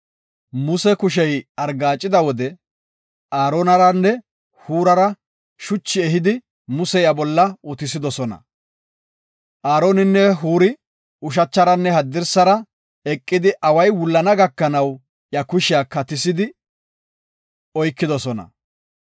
Muse kushey argaacida wode Aaronaranne Huurara shuchi ehidi Muse iya bolla utisidosona. Aaroninne Huuri ushacharanne haddirsara eqidi away wullana gakanaw iya kushiya katisi oykidosona.